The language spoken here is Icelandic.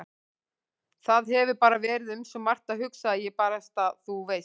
Það hefur bara verið um svo margt að hugsa að ég barasta. þú veist.